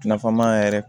Nafama yɛrɛ